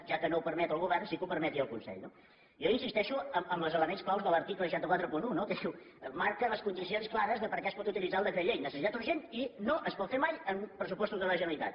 ja que no ho permet el govern sí que ho permeti el consell no jo insisteixo en els elements clau de l’article sis cents i quaranta un no que diu marca les condicions clares de per a què es pot utilitzar el decret llei necessitat urgent i no es pot fer mai en pressupostos de la generalitat